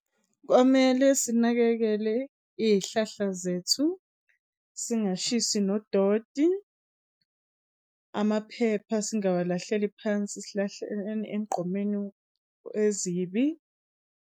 Kwamele sinakekele iy'hlahla zethu, singashisi nodoti. Amaphepha singawalahleli phansi sihlahleni emgqomeni ezimbi.